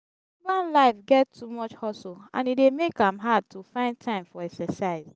urban life get too much hustle and e dey make am hard to find time for exercise.